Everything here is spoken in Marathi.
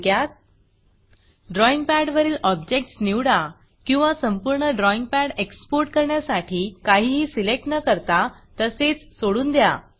थोडक्यात ड्रॉईंग पॅडवरील ऑब्जेक्टस निवडा किंवा संपूर्ण ड्रॉईंग पॅड एक्सपोर्ट करण्यासाठी काहीही सिलेक्ट न करता तसेच सोडून द्या